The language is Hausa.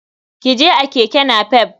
Ki je a keke napep.